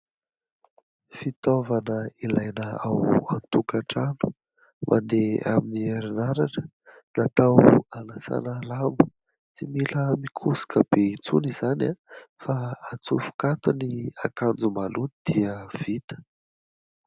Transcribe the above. Fitaovana ilaina ao an-tokantrano mandeha amin'ny herinaratra, natao hanasana lamba, tsy mila mikosoka bé intsony izany fa atsofoka ato ny akanjo maloto dia vita.